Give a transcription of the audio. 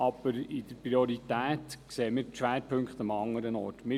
Aber was die Prioritäten betrifft, sehen wir die Schwerpunkte an einem anderen Ort.